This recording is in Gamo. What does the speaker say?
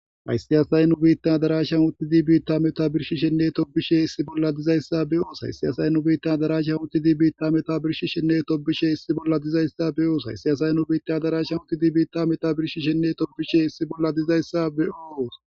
Hayisi assayi ha addarashani uttidi tobishenne hadsayoishe deyissa beyosi Hayisi assayi ha addarashani uttidi tobishenne hadsayoishe deyissa beyosivHayisi assayi ha addarashani uttidi tobishenne hadsayoishe deyissa beyosi